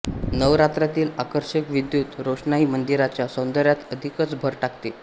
नवरात्रातील आकर्षक विद्युत रोषणाई मंदिराच्या सौंदर्यात अधिकच भर टाकते